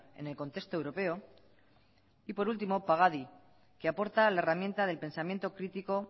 en el contexto europeo y por último pagadi que aporta la herramienta del pensamiento crítico